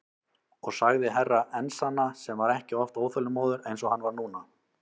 Og sagði Herra Enzana sem var ekki oft óþolinmóður eins og hann var núna.